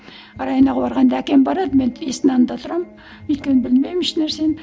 районо ға барғанда әкем барады мен есіктің алдында тұрамын өйткені білмеймін еш нәрсені